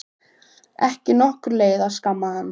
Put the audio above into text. Ekki nokkur leið að skamma hann.